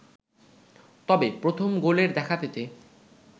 তবে প্রথম গোলের দেখা পেতে